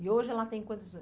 E hoje ela tem quantos